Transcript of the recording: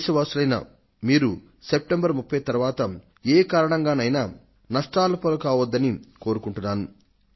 దేశ వాసులైన మీరు సెప్టెంబర్ 30 తరువాత ఏ కారణంగానైనా నష్టాల పాలు కావద్దని కొరుకుంటున్నాను